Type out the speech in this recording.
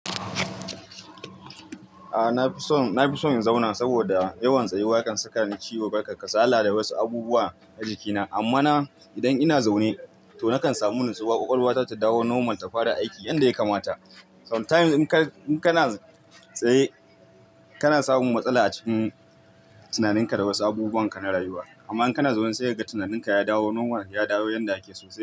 A na fi son, na fi son in zauna saboda yawan tsayuwa kan saka ni ciwo, barka kasala da wasu abubuwa a jikina. Amma na idan ina zaune to nakan samu nutsuwa, ƙwaƙwalwata ta dawo normal ta fara aiki yanda ya kamata. Sometimes in kana tsaye kana samun matsala a cikin tunaninka da wasu abubuwan ka na rayuwa. Amma in kana zaune sai ka ga tunaninka ya dawo normal, ya dawo yanda ake sosai.